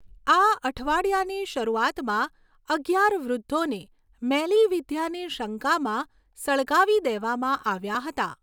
આ અઠવાડિયાની શરૂઆતમાં, અગિયાર વૃદ્ધોને મેલીવિદ્યાની શંકામાં સળગાવી દેવામાં આવ્યા હતા.